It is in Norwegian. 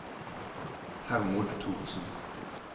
Hermod Thorsen